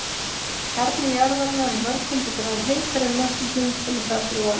Kjarni jarðarinnar er mörg hundruð gráðum heitari en möttullinn sem er þar fyrir ofan.